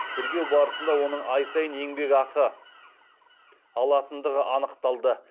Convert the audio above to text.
тергеу барысында оның ай сайын еңбекақы алатындығы анықталды